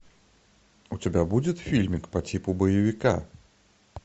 у тебя будет фильмик по типу боевика